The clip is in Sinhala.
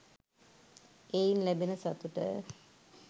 එයින් ලැබෙන සතුට